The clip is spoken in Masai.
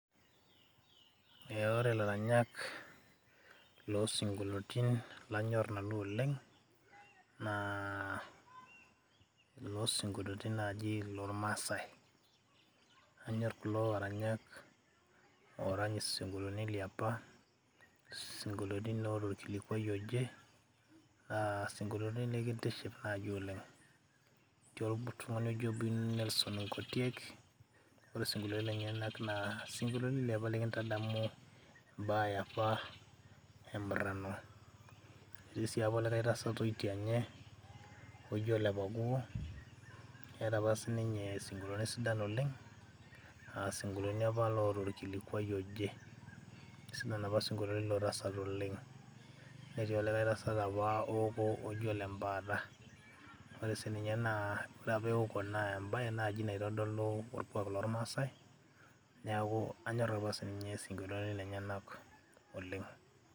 eh, ore ilaranyak losinkoliotin lanyorr nanu oleng naa ilosinkoliotin naaji lormasae anyorr kulo aranyak orany isinkolioni liapa sinkoliotin loota orkilikwai oje naa sinkoliotin linkitishipa naaji oleng etii oltung'ani oji Nelson ng'otiek ore sinkoliotin lenyenak naa sinkolioni liapa likintadamu imbaa yeapa emurrano etii sii apa olikae tasat oitianye oji ole pakuo eeta apa sininye sinkolioni sidan oleng asinkolioni apa loota orkilikwai oje isidan apa isinkolioni lilo tasat oleng netii olikae tasat apa ooko oji ole mpaata ore sininye naa oreapa ewoko naa embaye naaji naitodolu orkuak lormasae neeku anyorr apa sininye isinkolioni lenyenak oleng.